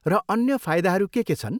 र अन्य फाइदाहरू के के छन्?